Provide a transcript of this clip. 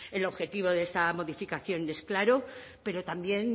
el objetivo de esta modificación es claro pero también